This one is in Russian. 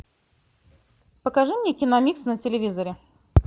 покажи мне киномикс на телевизоре